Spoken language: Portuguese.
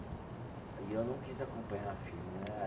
E eu não quis acompanhar a firma, né?